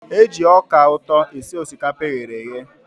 E ji ọka ụtọ esi osikapa eghere eghe.